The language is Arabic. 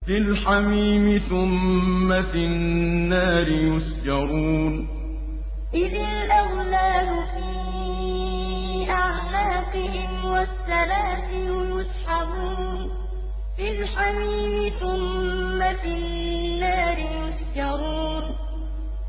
فِي الْحَمِيمِ ثُمَّ فِي النَّارِ يُسْجَرُونَ فِي الْحَمِيمِ ثُمَّ فِي النَّارِ يُسْجَرُونَ